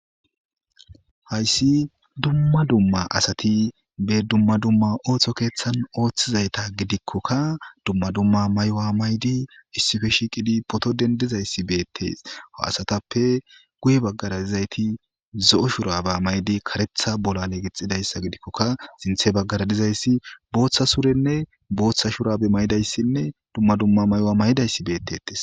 Hayssi dumma dumma asati be dumma dumma oohtho keeththan ooththizayta gidikkokka dumma dumma maywa maydi issife shiiqidi poto dendizayssi beettes a asatappe guye baggara dizayti zo'o shuraba maydi karetha bolale gixxidayssa gidikkoka sinthe baggara dizayssi booththa surenne booththa shurabi maydayssinne dumma dumma maywa may'dayssi beettetes.